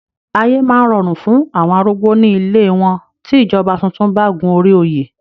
Ayé máa rọrùn fún àwọn arúgbó ní ilée wọn tí ìjọba tuntun bá gun orí òye.